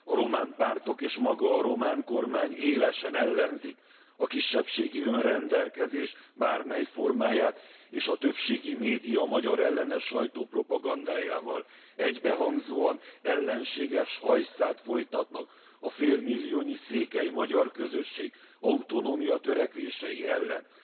A román pártok és maga a román kormány élesen ellenzi a kisebbségi önrendelkezés bármely formáját, és a többségi média magyarellenes sajtópropagandájával egybehangzóan ellenséges hajszát folytat a félmilliónyi székely magyar közösség autonómiatörekvései ellen.